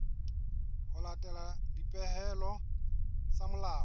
ho latela dipehelo tsa molao